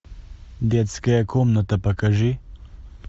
детская комната покажи